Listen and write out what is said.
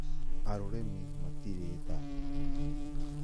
Arũremi matirĩ tha